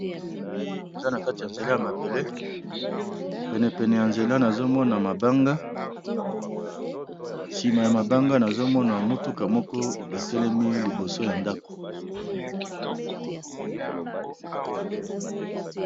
Awa namoni eza na kati ya nzela ya mabele, penepene ya nzela nazomona mabanga, nsima ya mabanga nazomona mutuka moko etelemi liboso ya ndako.